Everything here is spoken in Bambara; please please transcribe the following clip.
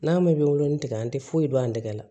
N'a mɛn wolonugu tigɛ an tɛ foyi dɔn an tɛgɛ la